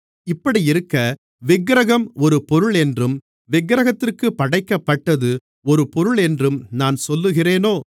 இப்படியிருக்க விக்கிரகம் ஒரு பொருளென்றும் விக்கிரகத்திற்குப் படைக்கப்பட்டது ஒரு பொருளென்றும் நான் சொல்லுகிறேனோ